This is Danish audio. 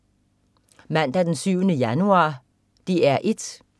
Mandag den 7. januar - DR 1: